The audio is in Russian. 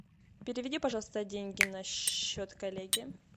переведи пожалуйста деньги на счет коллеге